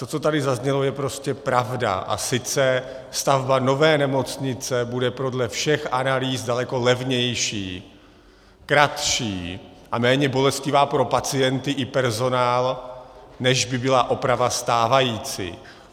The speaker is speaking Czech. To, co tady zaznělo, je prostě pravda - a sice stavba nové nemocnice bude podle všech analýz daleko levnější, kratší a méně bolestivá pro pacienty i personál, než by byla oprava stávající.